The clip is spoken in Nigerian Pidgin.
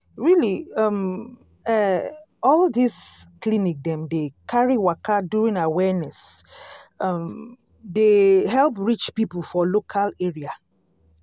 really um eh all this clinic dem dey carry waka during awareness um dey help reach people for local area.